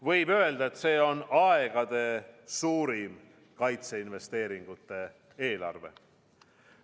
Võib öelda, et see on aegade suurim kaitseinvesteeringute eelarve.